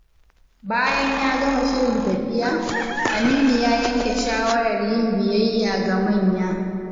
Bayan ya gama shirin tafiya, Aminu ya yanke shawarar yin biyayya ga manya.